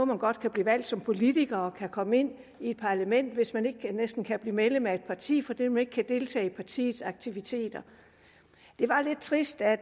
man godt kan blive valgt som politiker og kan komme ind i et parlament hvis man næsten ikke kan blive medlem af et parti fordi man ikke kan deltage i partiets aktiviteter det var lidt trist at